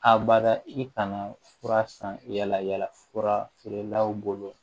A bada i kana fura san yala yala fura feerelaw bolo